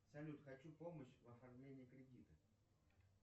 салют хочу помощь в оформлении кредита